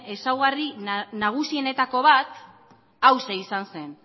ezaugarri nagusienetako bat hauxe izan zen